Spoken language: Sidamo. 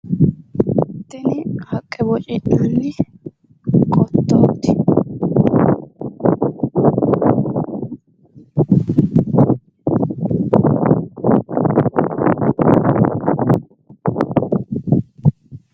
Tini haqqe boci'nanni qottooti.